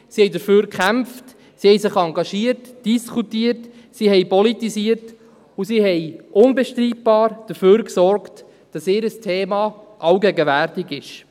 sie kämpften dafür, engagierten sich, diskutierten, politisierten und sorgten unbestrittenermassen dafür, dass ihr Thema allgegenwärtig wurde.